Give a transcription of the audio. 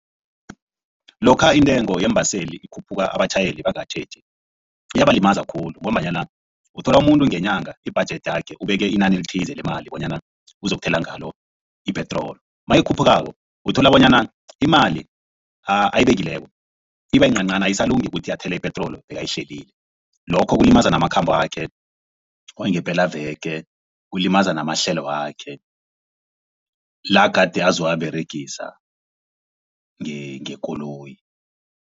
Lokha intengo yeembaseli ikhuphuka abatjhayeli bangakatjheji iyabalimaza khulu ngombanyana uthola umuntu ngenyanga ibhajethi yakhe ubeke inani elithize lemali bonyana uzokuthola ngalo ipetroli. Nayikhuphukako uthola bonyana imali ayibekileko iba yincancani ayisalungi ukuthi athele ipetroli ebakayihlelile lokho kulimaza namakhambo wakhe wangepelaveke kulimaza namahlelo wakhe la gade azowaberegisa ngekoloyi.